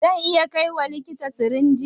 Zan iya kaiwa likitan sirinjin?